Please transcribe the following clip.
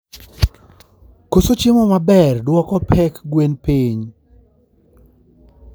koso chiemo maber duoko pek gwen piny